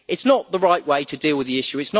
This is not the right way to deal with the issue.